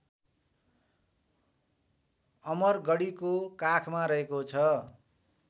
अमरगढीको काखमा रहेको छ